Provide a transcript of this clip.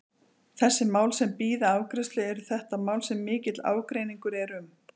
Þessi mál sem bíða afgreiðslu, eru þetta mál sem mikill ágreiningur er um?